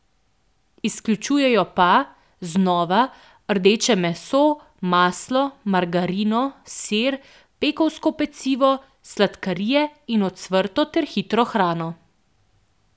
Izključujejo pa, znova, rdeče meso, maslo, margarino, sir, pekovsko pecivo, sladkarije in ocvrto ter hitro hrano.